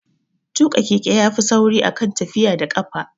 Tuƙa keke ya fi sauri a kan tafiya da ƙafa